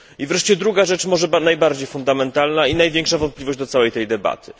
I wreszcie druga rzecz, może najbardziej fundamentalna i największa wątpliwość do całej tej debaty.